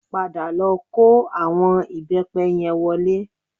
Padà lọ kó àwọn ìbẹ́pẹ yẹn wọlé